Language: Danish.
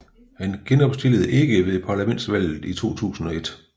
Han genopstillede ikke ved parlamentsvalget i 2001